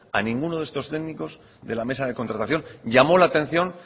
a ninguno de estos técnicos de la mesa de contratación llamó la atención